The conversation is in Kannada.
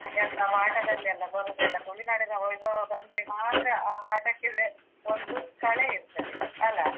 ಎಂತ ಪಾಠದಲೆಲ್ಲಾ ಬರುದೆಲ್ಲ ತುಳುನಾಡಿನ ವೈಭವ ಬಂದ್ರೆ ಮಾತ್ರ ಆ ಪಾಠಕ್ಕೇವೇ ಒಂದು ಕಳೆ ಇರ್ತದೆ ಅಲಾ?